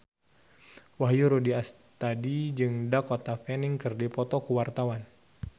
Wahyu Rudi Astadi jeung Dakota Fanning keur dipoto ku wartawan